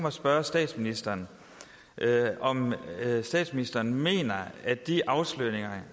at spørge statsministeren om statsministeren mener at de afsløringer